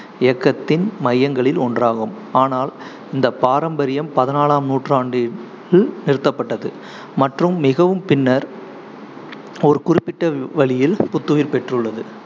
இயக்கத்தின் மையங்களில் ஒன்றாகும், ஆனால் இந்த பாரம்பரியம் பதினாலாம் நூற்றாண்டில் நிறுத்தப்பட்டது மற்றும் மிகவும் பின்னர் ஒரு குறிப்பிட்ட வழியில் புத்துயிர் பெற்றுள்ளது